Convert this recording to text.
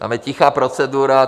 Tam je tichá procedura.